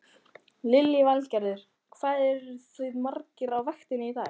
Lillý Valgerður: Hvað eruð þið margir á vaktinni í dag?